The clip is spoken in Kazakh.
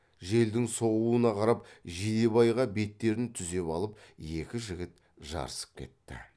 желдің соғуына қарап жидебайға беттерін түзеп алып екі жігіт жарысып кетті